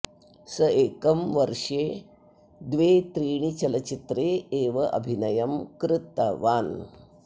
सः एकं वर्शे द्वे त्रीणि चलचित्रे एवं अभिनयं क्रुतवान्